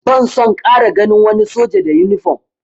Ban son ƙara ganin wani soja da yunifom!